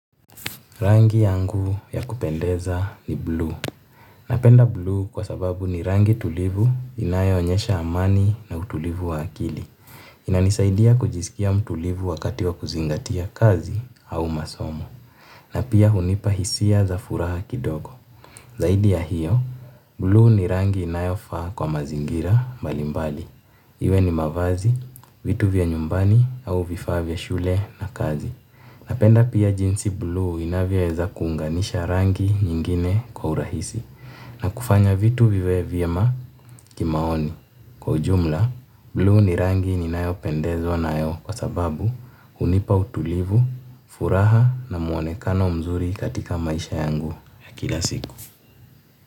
Rangi yangu ya kupendeza ni bluu. Napenda bluu kwa sababu ni rangi tulivu inayo onyesha amani na utulivu wa akili. Inanisaidia kujisikia mtulivu wakati wa kuzingatia kazi au masomo. Na pia hunipa hisia za furaha kidogo. Zaidi ya hiyo, bluu ni rangi inayofaa kwa mazingira mbali mbali. Iwe ni mavazi, vitu vya nyumbani au vifaa vya shule na kazi. Napenda pia jinsi bluu inavyoeza kuunganisha rangi nyingine kwa urahisi na kufanya vitu viwe vyema kimaoni. Kwa ujumla, bluu ni rangi ninayopendezwa nayo kwa sababu hunipa utulivu, furaha na muonekano mzuri katika maisha yangu ya kila siku.